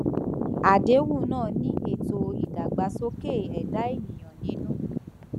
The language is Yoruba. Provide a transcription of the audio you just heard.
àdéhùn náà ní ètò ìdàgbàsókè ẹdá ènìyàn nínú